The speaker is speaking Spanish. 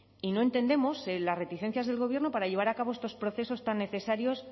y no entendemos las reticencias del gobierno para llevar a cabo estos procesos tan necesarios